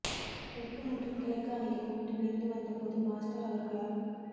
தெற்கு மற்றும் கிழக்கு அணிகள் ஒன்றிணைந்து வந்த போது மாஸ்டர் அவர்களால்